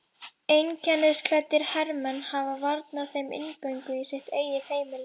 Einkennisklæddir hermenn hafa varnað þeim inngöngu í sitt eigið heimili.